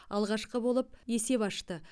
алғашқы болып есеп ашты